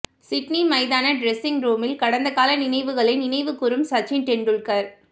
Sydney மைதான dressing ரூமில் கடந்த கால நினைவுகளை நினைவு கூறும் சச்சின் டெண்டுல்கர்